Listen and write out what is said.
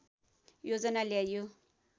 योजना ल्याइयो